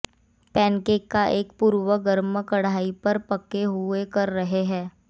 pancake का एक पूर्व गर्म कड़ाही पर पके हुए कर रहे हैं